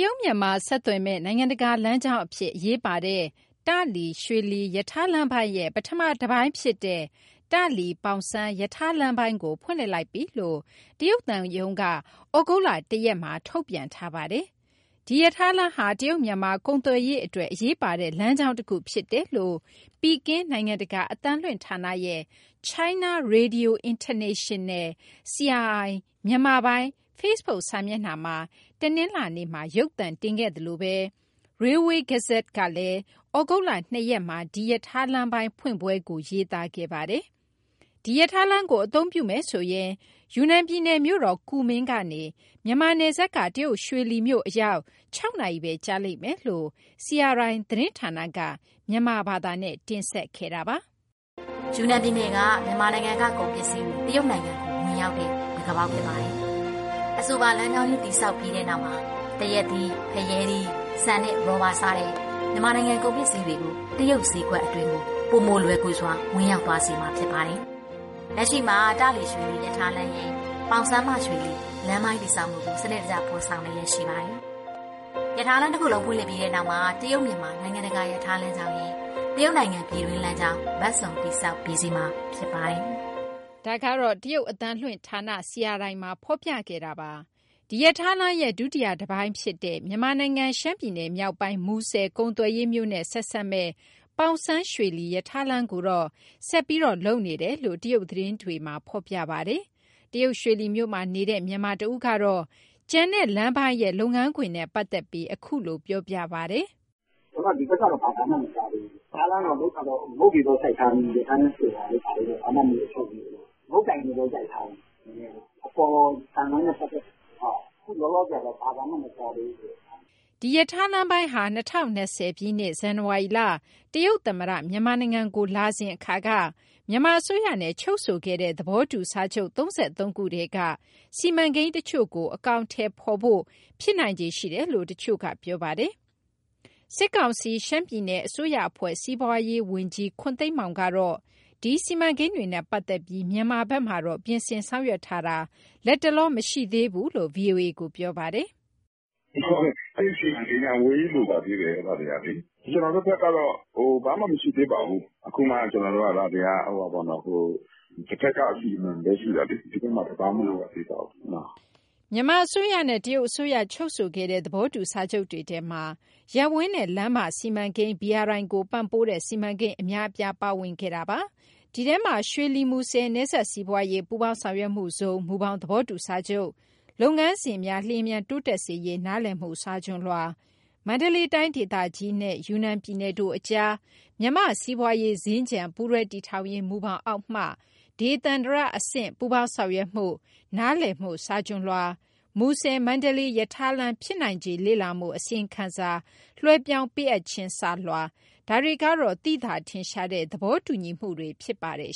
ရုတ်- မြန်မာဆက်သွယ်မယ့် နိုင်ငံတကာ လမ်းကြောင်းအဖြစ် အရေးပါတဲ့ တာ့လီ- ရွှေလီ ရထားလမ်းပိုင်းရဲ့ ပထမတပိုင်းဖြစ်တဲ့ တာ့လီ- ပေါင်စန်း ရထားလမ်းပိုင်းကို ဖွင့်လှစ်လိုက်ပြီလို့ တရုတ်သံရုံးက ဩဂုတ်လ ၁ရက်မှာ ထုတ်ပြန်ထားပါတယ်။ ဒီရထားလမ်းဟာ တရုတ်- မြန်မာ ကုန်သွယ်ရေးအတွက် အရေးပါတဲ့ လမ်းကြောင်းတခုဖြစ်တယ်လို့ ပီကင်းနိုင်ငံတကာအသံလွှင့်ဌာနရဲ့ China Radio International မြန်မာပိုင်း FB စာမျက်နှာက မနေ့ကတနင်္လာနေ့မှာ ရုပ်သံတင်ခဲ့သလို Railway Gazette ကလည်း ဒီနေ့ ဩဂုတ်လ ၂ရက်မှာ ဒီရထားလမ်းပိုင်းဖွင့်ပွဲကို ရေးသားခဲ့ပါတယ်။ ဒီရထားလမ်းကို အသုံးပြုမယ်ဆိုရင် ယူနန်ပြည်နယ် မြို့တော်ကူမင်း ကနေ မြန်မာနယ်စပ်က တရုတ်ရွှေလီမြို့အရောက် ၆ နာရီပဲကြာလိမ့်မယ်လို့ CRI သတင်းဌာနက မြန်မာဘာသာနဲ့ တင်ဆက်ခဲ့တာပါ။ "ယူနန်ပြည်နယ်က မြန်မာနိုင်ငံရဲ့ကုန်ပစ္စည်းတွေ တရုတ်နိုင်ငံကို ဝင်ရောက်တဲ့ တံခါးပေါက်ဖြစ်ပါတယ်။ အဆိုပါလမ်းကြောင်းကြီး တည်ဆောက်ပြီးတဲ့နောက်မှာ သရက်သီး၊ ဖရဲသီး၊ ဆန်နှင့် ရော်ဘာစတဲ့ မြန်မာနိုင်ငံကုန်ပစ္စည်းတွေကို တရုတ်ဈေးကွက်အတွင်းကို ပိုမိုလွယ်ကူစွာ ဝင်ရောက်သွားစေမှာ ဖြစ်ပါတယ်။ လက်ရှိမှာ တာ့လီ- ရွှေလီရထားလမ်းရဲ့ ပေါင်စန်းမှရွှေလီ လမ်းပိုင်းတည်ဆောက်မှုကို စနစ်တကျ ဖော်ဆောင်လျှက်ရှိပါတယ်။ ရထားလမ်းတခုလုံး ဖွင့်လှစ်ပြီးတဲ့နောက်မှာ တရုတ်- မြန်မာ နိုင်ငံတကာရထားလမ်းကြောင်းရဲ့ တရုတ်နိုင်ငံ ပြည်တွင်းလမ်းကြောင်း ဘက်စုံတည်ဆောက် ပြီးစီးမှာဖြစ်ပါတယ်။" ဒါကတော့ တရုတ်အသံလွင့်ဌာန CRI မှာ ဖော်ပြခဲ့တာပါ။ ဒီရထားလမ်းရဲ့ ဒုတိယတပိုင်းဖြစ်တဲ့ မြန်မာနိုင်ငံ ရှမ်းပြည်နယ်မြောက်ပိုင်း မူဆယ်ကုန်သွယ်ရေးမြို့နဲ့ ဆက်စပ်မဲ့ ပေါင်စန်းရွှေလီရထားလမ်းကိုတော့ ဆက်ပြီးလုပ်နေတယ်လို့ တရုတ်သတင်းတွေမှာ ဖော်ပြထားပါတယ်။ တရုတ်ရွှေလီမြို့မှာနေတဲ့ မြန်မာတဦးကတော့ ကျန်တဲ့လမ်းပိုင်းရဲ့ လုပ်ငန်းခွင်နဲ့ပတ်သက်ပြီး အခုလိုပြောပြပါတယ်။ "ဒီဘက်ကတော့ ဘာသံမှမကြားသေးဘူး၊ ရထားလမ်းကလုပ်တာတော့ ငုတ်တွေတော့ စိုက်ထားပြီးပြီ၊ ရထားဆိုတာတို့ ဘာတို့တော့ ဘာမှမလုပ်သေးဘူး။ ငုတ်တိုင်တွေပဲရိုက်ထားတာ။ အပေါ်သံလမ်းနဲ့ပတ်သက်တဲ့ဟာတော့ အခုလောလောဆယ်တော့ ဘာသံမှမကြားသေးဘူး။" ဒီရထားလမ်းပိုင်းဟာ ၂၀၂၀ ဇန်နဝါရီလ တရုတ်သမ္မတ မြန်မာနိုင်ငံကိုလာတုန်းက မြန်မာအစိုးရနဲ့ချုပ်ဆိုခဲ့တဲ့ သဘောတူစာချုပ် ၃၃ ခုထဲက စီမံကိန်းတချို့ကို အကောင်အထည်ဖော်ဖို့ ဖြစ်နိုင်ခြေရှိတယ်လို့ တချို့က ပြောပါတယ်။ စစ်ကောင်စီ ရှမ်းပြည်နယ်အစိုးရအဖွဲ့ စီးပွားရေးရာဝန်ကြီး ခွန်သိန်းမောင်ကတော့ ဒီစီမံကိန်းတွေနဲ့ပတ်သက်ပြီး မြန်မာဘက်မှာတော့ ပြင်ဆင်ဆောင်ရွက်ထားတာ လတ်တလောမရှိသေးဘူးလို့ ဗွီအိုအေကို ပြောပါတယ်။ "အဲဒီစီမံကိန်းက အဝေးကြီးလိုပါသေးတယ် အဲဒါတွေကလေ၊ ကျနော်တို့ဘက်ကတော့ ဘာမှမရှိသေးပါဘူး၊ အခုမှကျနော်တို့က ဒါတွေက တဖက်က အစီအမံပဲရှိတာလေ ဒီဘက်မှာဘာမှ မလုပ်ရသေးပါဘူးနော်။" မြန်မာအစိုးရနဲ့ တရုတ်အစိုးရ ချုပ်ဆိုခဲ့တဲ့ သဘောတူစာချုပ်တွေထဲမှာ ရပ်ဝန်းနဲ့လမ်းမစီမံကိန်း BRI ကိုပံ့ပိုးတဲ့ စီမံကိန်းအများအပြား ပါဝင်ခဲ့တာပါ။ ဒီထဲမှာ ရွှေလီ-မူဆယ် နယ်စပ်စီးပွားရေး ပူးပေါင်းဆောင်ရွက်မှုဇုန် မူဘောင်သဘောတူစာချုပ် လုပ်ငန်းစဉ်များ လျှင်မြန်တိုးတက်စေရေး နားလည်မှုစာချွန်လွှာ၊ မန္တလေးတိုင်းဒေသကြီးနှင့် ယူနန်ပြည်နယ်တို့အကြား မြန်မာ့ စီးပွားရေးစင်္ကြန် ပူးတွဲတည်ထောင်ရေး မူဘောင်အောက်မှ ဒေသန္တရအဆင့် ပူးပေါင်းဆောင်ရွက်မှု နားလည်မှုစာချွန်လွှာ၊ မူဆယ်မန္တလေးရထားလမ်း ဖြစ်နိုင်ခြေလေ့လာမှုအစီရင်ခံစာ လွှဲပြောင်းပေးအပ်ခြင်းစာလွှာ ဒါတွေကတော့ သိသာထင်ရှားတဲ့ သဘောတူညီမှုတွေ ဖြစ်ပါတယ်